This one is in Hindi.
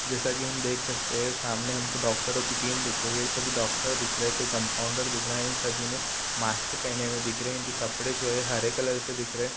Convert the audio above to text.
जैसा की हम देख सकते हैं सामने हमको डॉक्टरो की टीम दिख रही है सभी डॉक्टर दिख रहै है कोई कम्पाउण्डर दिख रहा है इन सभी ने मास्क पहने हुए दिख रहें हैं इनके कपड़े जो है हरे कलर के दिख रहै है।